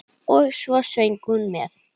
Og svo söng hún með.